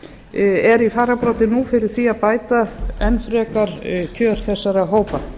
er í fararbroddi nú fyrir því að bæta enn frekar kjör þegar hópa